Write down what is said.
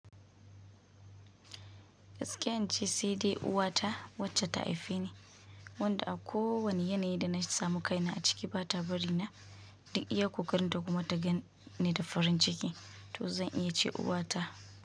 Gaskiya ince CD uwata wacce ta haife ni. Wanda a ko wani yanayi da na samu kaina a ciki ba ta bari na duk iya ƙoƙarin ta kuma ta ganni da farin ciki, to zan iya ce uwata.